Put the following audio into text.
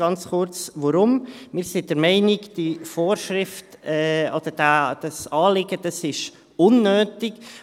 Ganz kurz warum: Wir sind der Meinung, diese Vorschrift oder dieses Anliegen sei unnötig.